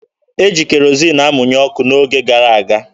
E jiri kerozin amụnye ọkụ n'oge gara aga.